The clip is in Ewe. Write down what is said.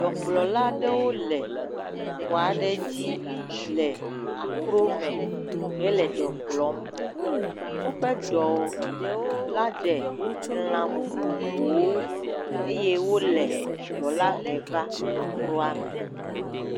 Ɖɔkplɔla aɖewo le ƒu aɖe dzi le akro me hele ɖɔ kplɔ. Woƒe ɖɔ la ɖe elã vovovowo eye wo le ɖɔ la hem va akroa me.